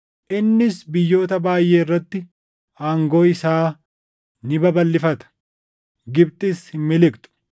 Innis biyyoota baayʼee irratti aangoo isaa ni babalʼifata; Gibxis hin miliqxu.